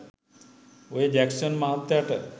ඔය ජැක්සන් මහත්තයට